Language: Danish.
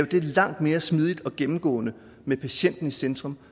langt mere smidigt og gennemgående med patienten i centrum